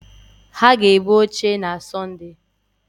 Ha ga-ebu oche na Sọnde.